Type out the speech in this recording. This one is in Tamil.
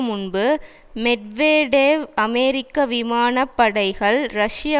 முன்பு மெட்வெடேவ் அமெரிக்க விமான படைகள் ரஷ்ய